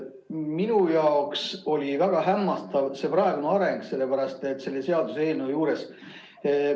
Minu jaoks oli väga hämmastav see praegune areng selle seaduseelnõu juures.